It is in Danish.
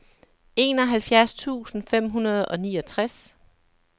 enoghalvfjerds tusind fem hundrede og niogtres